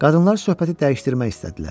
Qadınlar söhbəti dəyişdirmək istədilər.